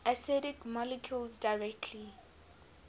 acidic molecules directly